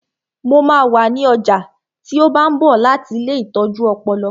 Mo máa wà ní ọjà tí ó bá ń bọ̀ láti ilée ìtọ́jú ọpọlọ